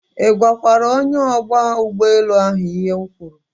I gwakwara onye ogba ugboelu ahu ihe m kwuru